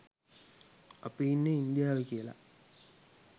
අපි ඉන්නෙ ඉන්දියාවෙ කියලා